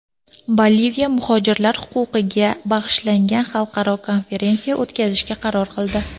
Boliviya muhojirlar huquqiga bag‘ishlangan xalqaro konferensiya o‘tkazishga qaror qildi.